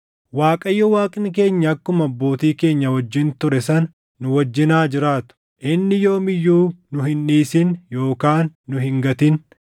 Waaqayyo Waaqni keenya akkuma abbootii keenya wajjin ture sana nu wajjin haa jiraatu; inni yoom iyyuu nu hin dhiisin yookaan nu hin gatin.